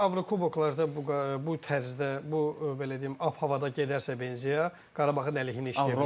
Əslində Avrokuboklarda bu bu tərzdə, bu belə deyim, ab-havada gedərsə Benzya, Qarabağın əleyhinə işləyə bilər.